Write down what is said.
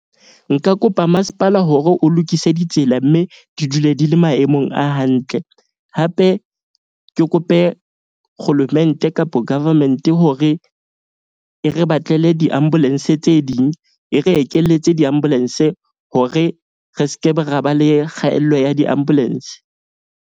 Nka kopa masepala hore o lokise ditsela. Mme di dule di le maemong a hantle. Hape ke kope kgolomente kapa government hore e re batlele di-ambulance tse ding. E re ekeletse di-ambulance hore re skebe ra ba le kgaello ya di-ambulance.